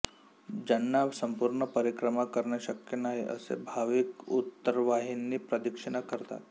ज्यांना संपूर्ण परिक्रमा करणे शक्य नाही असे भाविक उत्तरावाहिनी प्रदक्षिणा करतात